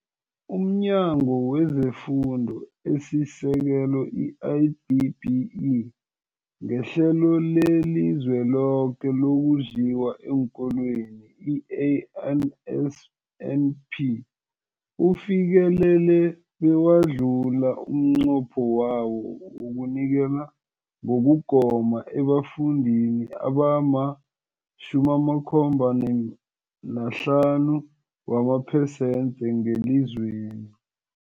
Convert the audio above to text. UmNyango wezeFundo esiSekelo, i-DBE, ngeHlelo leliZweloke lokoNdliwa eenKolweni, i-NSNP, ufikelele bewadlula umnqopho wawo wokunikela ngokugoma ebafundini abama-75 wamaphesenthe ngelizweni.